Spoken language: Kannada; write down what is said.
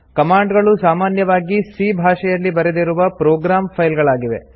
ಕಮಾಂಡ್ ಗಳು ಸಾಮಾನ್ಯವಾಗಿ c ಭಾಷೆಯಲ್ಲಿ ಬರೆದಿರುವ ಪ್ರೊಗ್ರಾಮ್ ಫೈಲ್ ಗಳಾಗಿವೆ